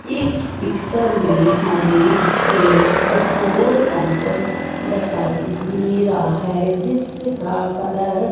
इस पिक्चर में हमें एक पट्रोल पंप दिखाई दे रहा है जिसका कलर --